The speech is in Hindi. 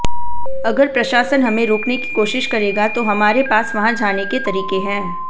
अगर प्रशासन हमें रोकने की कोशिश करेगा तो हमारे पास वहां जाने के तरीके हैं